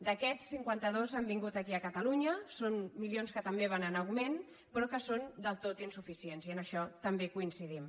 d’aquests cinquanta dos han vingut aquí a catalu·nya són milions que també van en augment però que són del tot insuficients i en això també hi coincidim